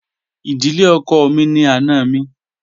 Ìdílé ọkọ mi ni àna mi